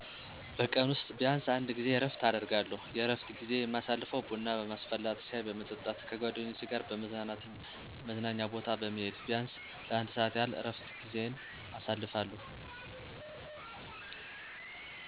በቀን ውስጥ ቢያንሰ አንድ ጊዜ እረፍት አደርጋለሁ። የእረፍት ጊዜዪ የማሳልፈው ቡና በማስፈላት፣ ሻይ በመጠጣት፣ ከጓደኞቼ ጋር በመዝናናት እና መዝናኛ ቦታ በመሄድ ቢያንስ ለአንድ ሰዓት ያህል የእረፍት ጊዜየን አሳልፋለሁ።